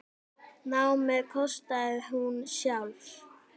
Námið kostaði hún sjálf.